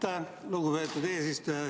Aitäh, lugupeetud eesistuja!